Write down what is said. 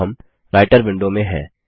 अब हम Writer window में हैं